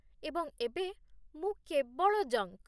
ଏବଂ ଏବେ, ମୁଁ କେବଳ ଜଙ୍କ୍!